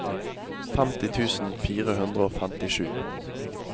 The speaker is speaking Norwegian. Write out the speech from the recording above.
femti tusen fire hundre og femtisju